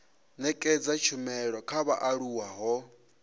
nekedza tshumelo kha vhaaluwa ho